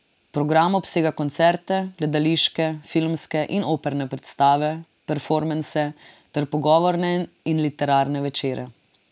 Program obsega koncerte, gledališke, filmske in operne predstave, performanse ter pogovorne in literarne večere.